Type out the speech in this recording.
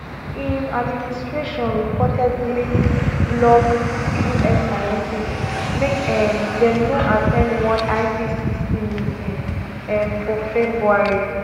im administration reportedly block us scientists make um dem no at ten d one ipcc meeting um for february